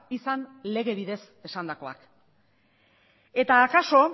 izan lege bidez esandakoa eta akaso